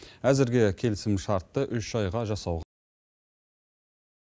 әзірге келісімшартты үш айға жасау